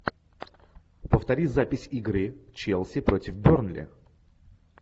повтори запись игры челси против бернли